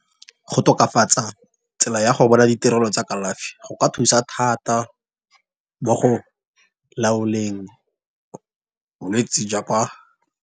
Go tokafatsa tsela ya go bona ditirelo tsa kalafi go ka thusa thata mo go laoleng bolwetse .